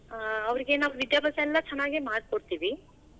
ಆ ಅವರಿಗೆ ವಿದ್ಯಾಭ್ಯಾಸಾ ಎಲ್ಲಾ ಚೆನ್ನಾಗೆ ಮಾಡ್ ಕೊಡ್ತೀವಿ.